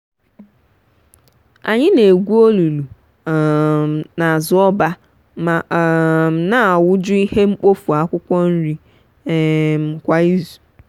anyị na-egwu olulu um n'azụ ọba ma um na awu-ju ihe mkpofu akwụkwọ nri um kwa izu